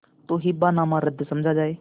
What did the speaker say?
तो हिब्बानामा रद्द समझा जाय